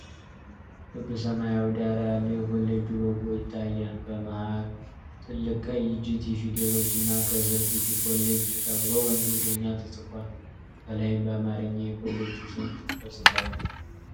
ክብ ሰማያዊ ዳራ ያለው የኮሌጅ ሎጎ ይታያል:: በመሃል ትልቅ ቀይ "GT" ፊደሎች እና ከስር "GT COLLEGE" ተብሎ በእንግሊዝኛ ተጽፏል:: ከላይም በአማርኛ የኮሌጁ ስም ተጽፏል::